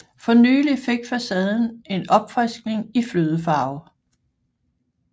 For nylig fik facaden en opfriskning i flødefarve